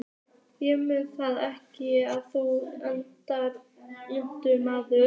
Ég mundi það ekki, að þú ert ennþá ungur maður.